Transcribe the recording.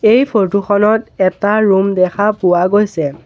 এই ফৰটো খনত এটা ৰুম দেখা পোৱা গৈছে।